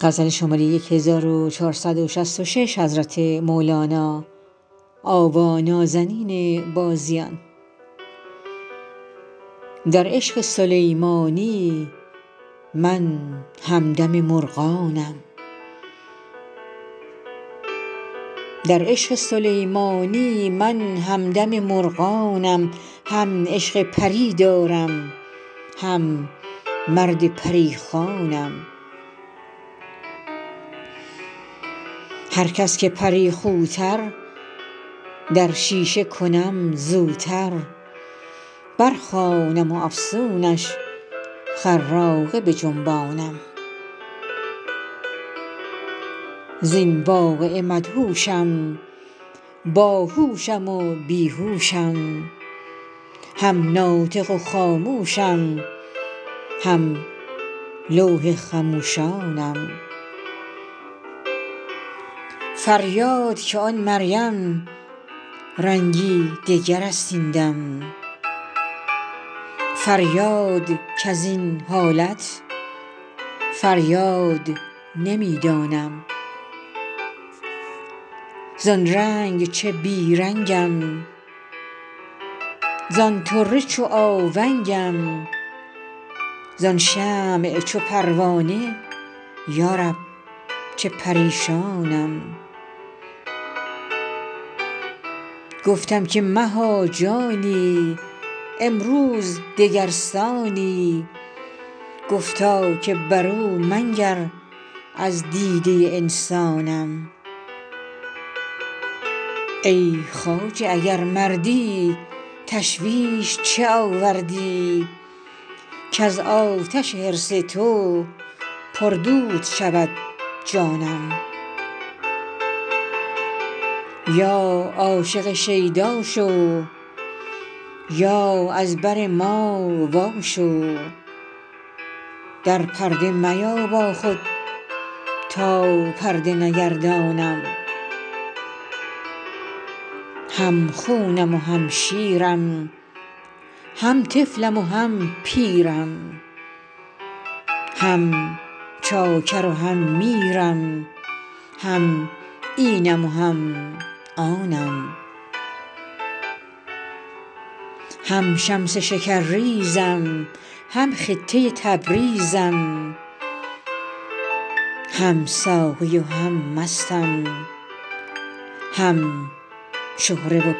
در عشق سلیمانی من همدم مرغانم هم عشق پری دارم هم مرد پری خوانم هر کس که پری خوتر در شیشه کنم زوتر برخوانم افسونش حراقه بجنبانم زین واقعه مدهوشم باهوشم و بی هوشم هم ناطق و خاموشم هم لوح خموشانم فریاد که آن مریم رنگی دگر است این دم فریاد کز این حالت فریاد نمی دانم زان رنگ چه بی رنگم زان طره چو آونگم زان شمع چو پروانه یا رب چه پریشانم گفتم که مها جانی امروز دگر سانی گفتا که برو منگر از دیده انسانم ای خواجه اگر مردی تشویش چه آوردی کز آتش حرص تو پردود شود جانم یا عاشق شیدا شو یا از بر ما واشو در پرده میا با خود تا پرده نگردانم هم خونم و هم شیرم هم طفلم و هم پیرم هم چاکر و هم میرم هم اینم و هم آنم هم شمس شکرریزم هم خطه تبریزم هم ساقی و هم مستم هم شهره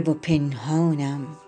و پنهانم